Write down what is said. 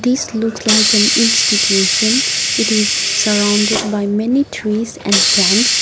this looks like an institution it is surrounded by many trees and plants.